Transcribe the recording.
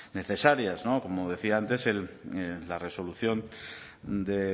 necesarias no como decía antes la resolución de